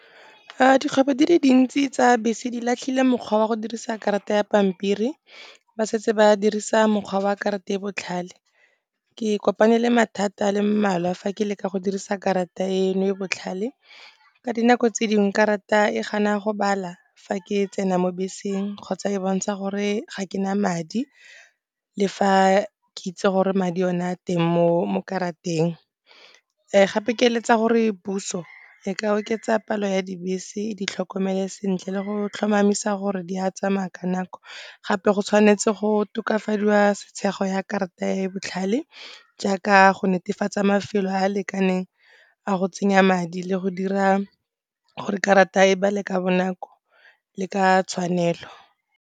Dikgwebo di le dintsi tsa bese di latlhile mokgwa wa go dirisa karata ya pampiri, ba setse ba dirisa mokgwa wa karata e botlhale. Ke kopane le mathata a le mmalwa fa ke leka go dirisa karata eno e botlhale ka dinako tse dingwe karata e gana go bala fa ke tsena mo beseng kgotsa e bontsha gore ga ke na madi le fa ke itse gore madi o ne a teng mo karateng. Gape ke eletsa gore puso e ka oketsa palo ya dibese, e di tlhokomele sentle le go tlhomamisa gore di a tsamaya ka nako. Gape go tshwanetse go tokafadiwa ya karata e botlhale, jaaka go netefatsa mafelo a a lekaneng a go tsenya madi le go dira gore karata e bale ka bonako le ka tshwanelo.